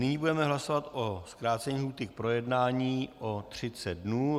Nyní budeme hlasovat o zkrácení lhůty k projednání o 30 dnů.